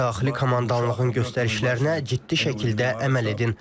Daxili komandanlığın göstərişlərinə ciddi şəkildə əməl edin.